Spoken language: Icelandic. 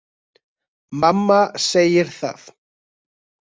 Mamma segir það